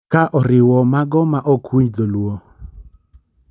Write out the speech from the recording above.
ka o riwo mago ma ok winj dholuo.